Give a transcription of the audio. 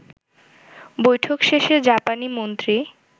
বৈঠক শেষে জাপানি মন্ত্রী